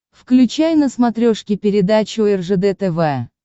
включай на смотрешке передачу ржд тв